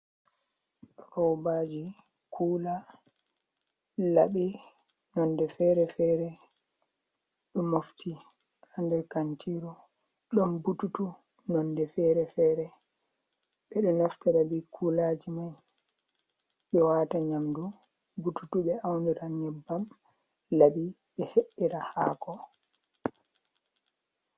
Robaji kula laɓi nonde fere-fere, ɗo mofti hander kantiru ɗon bututu nonde ferefere, ɓeɗo naftira be kulaji mai ɓe wata nyamdu, bututu ɓe auniran nyabbam, laɓi ɓe he’ira haako.